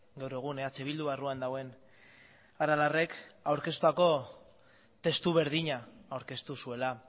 gaur egun eh bildu barruan dagoen aralarrek aurkeztutako testu berdina aurkeztu zuela